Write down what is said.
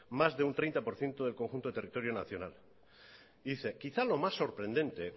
más de un treinta por ciento del conjunto del territorio nacional y dice quizás lo más sorprendente